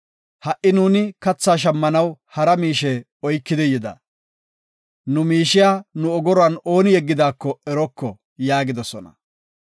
Ha7i nuuni katha shammanaw hara miishe oyki yida. Nu miishiya nu ogoruwan ooni yeggidaako eroko” yaagidosona.